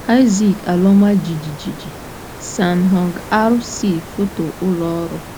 Isaac; ala ọma jijiji: San Hong R - C Foto ụlọ ọrụ.